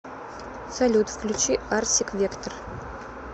салют включи арсик вектор